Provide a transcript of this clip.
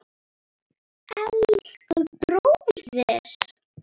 Elsku bróðir!